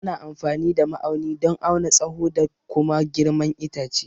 Ana amfani da ma'auni don auna tsaho da kuma girman itace.